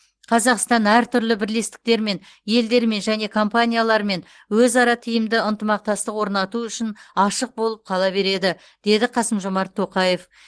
қазақстан әртүрлі бірлестіктермен елдермен және компаниялармен өзара тиімді ынтымақтастық орнату үшін ашық болып қала береді деді қасым жомарт тоқаев